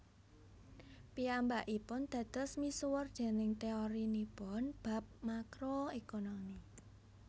Piyambakipun dados misuwur déning teorinipun bab Makro Ekonomi